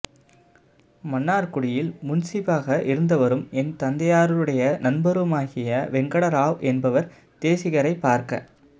மன்னார்குடியில் முன்சீபாக இருந்தவரும் என் தந்தையாருடைய நண்பருமாகிய வேங்கட ராவ் என்பவர் தேசிகரைப் பார்க்க